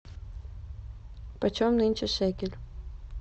почем нынче шекель